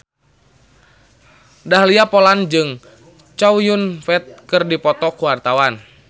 Dahlia Poland jeung Chow Yun Fat keur dipoto ku wartawan